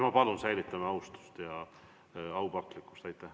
Ma palun, säilitame austuse ja aupaklikkuse.